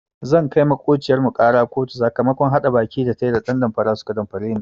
Zan kai maƙociyar mu ƙara kotu sakamakon haɗa baki da tayi da ɗan damfara suka damfare ni.